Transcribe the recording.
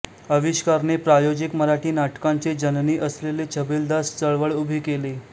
आविष्कार ने प्रायोजिक मराठी नाटकांची जननी असलेली छबिलदास चळवळ उभी केली